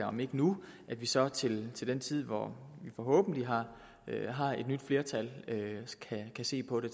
om ikke nu men så til den tid hvor vi forhåbentlig har har et nyt flertal kan se på det